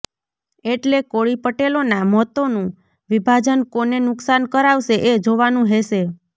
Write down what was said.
એટલે કોળી પટેલોનાં મતોનુ વિભાજન કોને નુકશાન કરાવશે એ જોવાનું હેશે